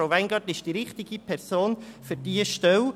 Frau Weingart ist die richtige Person für diese Stelle.